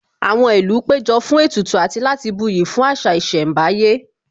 Àwọn ìlú péjọ fún ètùtù àti láti buyì fún àṣà ìṣẹ̀mbáyé